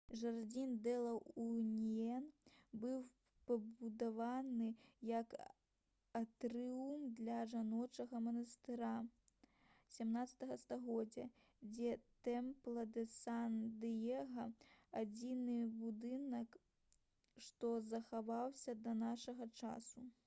жардзін дэ ла уніён быў пабудаваны як атрыум для жаночага манастыра 17 стагоддзя дзе темпла дэ сан дыега адзіны будынак што захаваўся да нашага часу